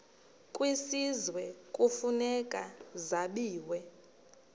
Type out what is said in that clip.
kwisizwe kufuneka zabiwe